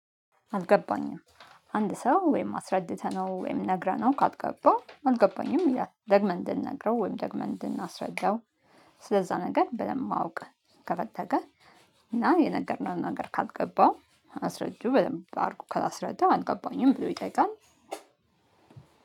አልገባኝም። አንድ ሰው ወይም አስረድተነው ወይም ነግረነው ካልገባው አልገባኝም ይላል ደግመን እንድንነግረው ወይም ደግመን እንድናስረዳው። ስለዛ ነገር በደንብ ማወቅ ከፈለገ። እና የነገርነውን ነገር ካልገባው አስረዱ በደንብ አርጉ ከላስረዳው አልገባኝም ብሎ ይጠይቃል።